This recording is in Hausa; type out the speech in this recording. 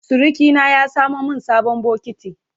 Surukina ya samo min sabon bokiti.